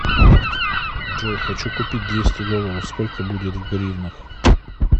джой хочу купить двести долларов сколько будет в гривнах